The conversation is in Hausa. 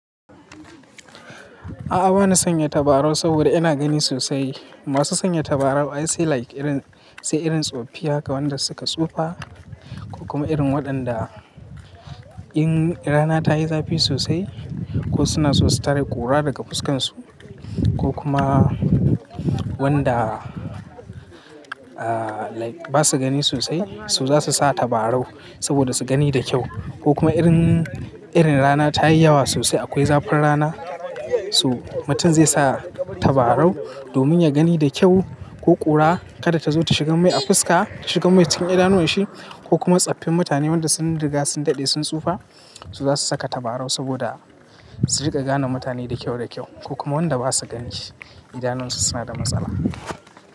A'a bani sanya tabarau saboda ina gani sosai. Masu sanya tabarau ai sai like irin, sai irin tsofaffi haka wanda suka tsufa ko kuma irin waɗanda in rana ta yi zafi sosai ko suna so su tare ƙura daga fuskan su ko kuma wanda ah like ba su gani sosai su za su sa tabarau saboda su gani da kyau. Ko kuma irin, irin rana ta yi yawa sosai akwai zafin rana so mutum zai sa tabarau domin ya gani da kyau ko ƙura kada ta zo ta shiga mai a fuska, shiga mai cikin idanuwan shi ko kuma tsaffin mutane wanda sun riga sun daɗe sun tsufa su za su saka tabarau saboda su riƙa gane mutane da kyau da kyau ko kuma wanda ba su gani idanuwan su suna da matsala.